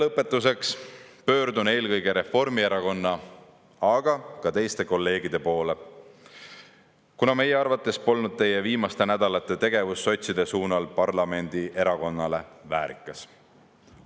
Lõpetuseks pöördun eelkõige Reformierakonna, aga ka teiste kolleegide poole, kuna meie arvates polnud teie viimaste nädalate tegevus sotside suunal parlamendierakonna kohta väärikas.